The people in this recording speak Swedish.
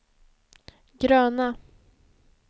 gröna